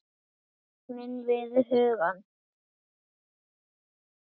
Þögnina við hugann.